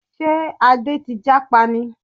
Ṣé Adé ti jápa ni?